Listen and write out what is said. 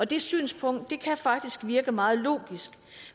det synspunkt kan faktisk virke meget logisk